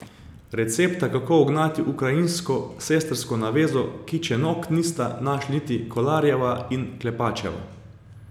Recepta kako ugnati ukrajinsko sestrsko navezo Kičenok nista našli niti Kolarjeva in Klepačeva.